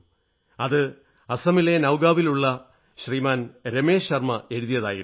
അത് അസമിലെ നൌഗാവിലുള്ള ശ്രീമാൻ രമേശ് ശർമ്മ എഴുതിയതായിരുന്നു